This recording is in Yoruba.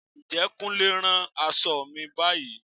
Ǹjẹ́ Kúnlé ń rán aṣọ mi báyìí?